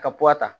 Ka puwa ta